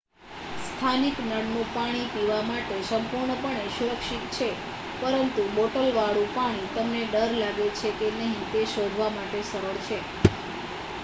સ્થાનિક નળનું પાણી પીવા માટે સંપૂર્ણપણે સુરક્ષિત છે પરંતુ બોટલવાળું પાણી તમને ડર લાગે છે કે નહીં તે શોધવા માટે સરળ છે